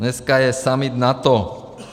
Dneska je summit NATO.